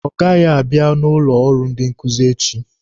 Ọ gaghị abịa n'ụlọ ọrụ ndị nkuzi echi.